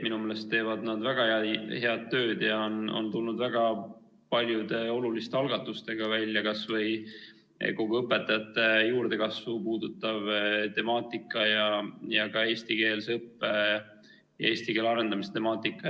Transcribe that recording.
Minu meelest teevad nad väga head tööd ja on tulnud väga paljude oluliste algatustega välja, kas või kogu õpetajate juurdekasvu puudutav temaatika ja ka eestikeelse õppe ja eesti keele arendamise temaatika.